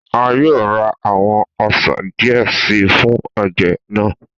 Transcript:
A yoo ra awọn ọsan diẹ sii fun oje naa.